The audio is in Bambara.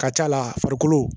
Ka ca la farikolo